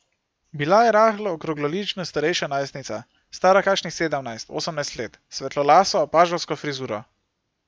Bila je rahlo okroglolična starejša najstnica, stara kakšnih sedemnajst, osemnajst let, s svetlolaso paževsko frizuro.